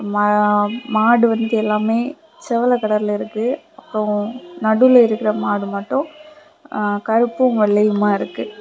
மம மாடு வந்து எல்லாமே செவல கலர்ல இருக்கு அப்ரோ நடுவுல இருக்கிற மாடு மட்டு கருப்பு வெள்ளையுமா இருக்கு.